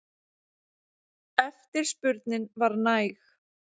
Eftirspurnin var næg.